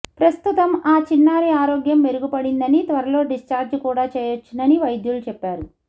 ప్రస్తుతం అ చిన్నారి ఆరోగ్యం మెరుగుపడిందని త్వరలో డిశ్చార్జ్ కూడా చేయొచ్చునని వైద్యులు చెప్పారు